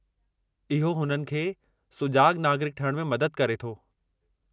इहो उन्हनि खे सुजाॻु नागरिकु ठहिण में मदद करे थो।